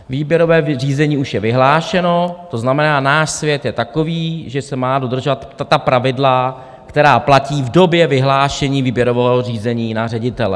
Výběrové řízení už je vyhlášeno, to znamená, náš svět je takový, že se mají dodržovat ta pravidla, která platí v době vyhlášení výběrového řízení na ředitele.